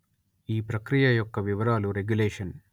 ఈ ప్రక్రియ యొక్క వివరాలు రెగ్యులేషన్